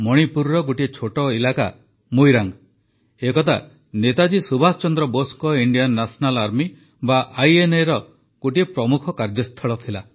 ମଣିପୁରର ଗୋଟିଏ ଛୋଟ ଇଲାକା ମୋଇରାଙ୍ଗ ଏକଦା ନେତାଜୀ ସୁଭାଷ ଚନ୍ଦ୍ର ବୋଷଙ୍କ ଇଣ୍ଡିଆନ ନ୍ୟାସନାଲ୍ ଆର୍ମି ବା ଆଇଏନ୍ଏର ଗୋଟିଏ ପ୍ରମୁଖ କାର୍ଯ୍ୟସ୍ଥଳ ଥିଲା